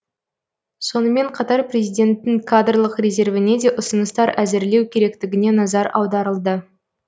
сонымен қатар президенттің кадрлық резервіне де ұсыныстар әзірлеу керектігіне назар аударылды